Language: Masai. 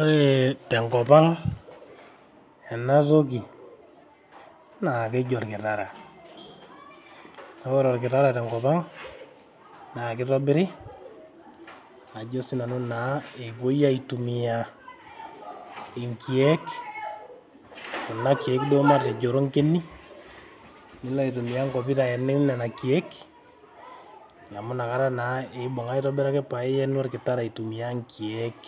Ore te nkop ang ena toki naa keji olkitara. Naa ore olkitara tenkop ang naa kitobiri ajo sii nanu naa epuoi aitumia nkiek kuna kiek duo matejo ronkeni paa ilo aitumia nkopit ayenie nena kiek amu inakata naa eibung aitobiraki. Paa iyenu olkitara aitumia nkiek.